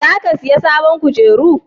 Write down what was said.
za ka saya sabon kujeru?